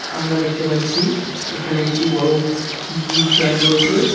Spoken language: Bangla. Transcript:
আমরা দেখতে পাচ্ছি এখানে একটি বড় উ ফ্ল্যাট রয়েছে।